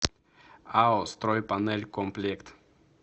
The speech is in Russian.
ао стройпанелькомплект